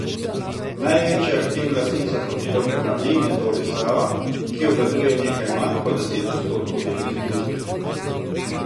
Največja aktivna lastnica Hotelov Bernardin je torej Sava, ki obvladuje nekaj manj kot deset odstotkov delnic družbe.